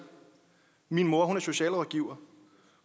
min mor er socialrådgiver